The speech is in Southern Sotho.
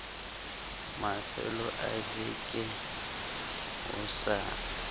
mafelo a veke ho sa